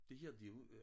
Det her det jo øh